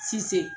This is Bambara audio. Cisse